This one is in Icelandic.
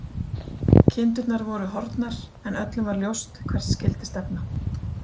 Kindurnar voru horfnar, en öllum var ljóst hvert skyldi stefna.